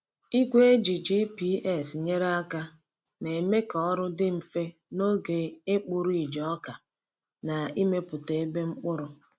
Igwe eji GPS nyere aka na-eme ka ọrụ dị mfe n’oge ịkpụ ridge ọka na imepụta ebe mkpụrụ.